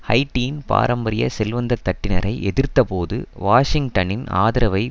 ஹைட்டியின் பாரம்பரிய செல்வந்ததட்டினரை எதிர்த்தப்போது வாஷிங்டனின் ஆதரவை